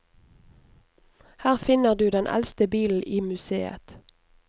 Her finner du den eldste bilen i museet.